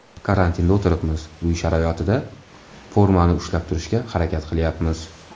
Karantinda o‘tiribmiz, uy sharoitida formani ushlab turishga harakat qilyapmiz.